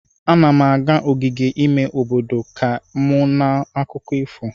Ana m aga n'ogige ime obodo ka m nụ akụkọ ifo.